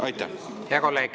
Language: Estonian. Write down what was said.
Hea kolleeg!